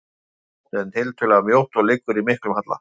Það er langt, en tiltölulega mjótt og liggur í miklum halla.